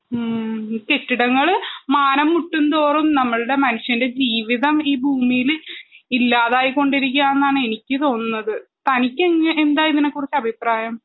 ഉം കെട്ടിടങ്ങള് മാനം മുട്ടുന്തോറും നമ്മളുടെ മനുഷ്യൻ്റെ ജീവിതം ഈ ഭൂമീല് ഇല്ലാതായി കൊണ്ടിരിക്കാന്നാണ് എനിക്ക് തോന്നുന്നത് തനിക്കെങ്ങ എന്താ ഇതിനെ കുറിച്ചഭിപ്രായം